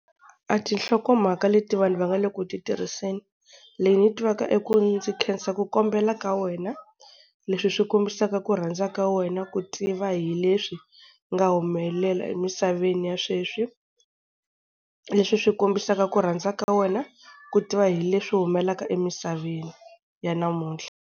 A tinhlokomhaka leti vanhu va nga le ku titirhiseni, leyi ni yi tivaka i ku ndzi khensa ku kombela ka wena, leswi swi kombisaka ku rhandza ka wena ku tiva hi leswi swi nga humelela emisaveni ya sweswi, leswi swi kombisaka ku rhandza ka wena ku tiva hi leswi humelelaka emisaveni ya namuntlha.